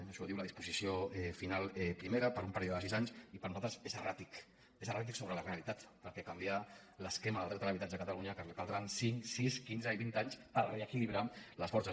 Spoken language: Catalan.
això ho diu la disposició final primera per un període de sis anys i per a nosaltres és erràtic és erràtic sobre la realitat perquè canviar l’esquema del dret a l’habitatge a catalunya caldran cinc sis quinze i vint anys per reequilibrar les forces